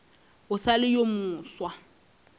o sa le yo mofsa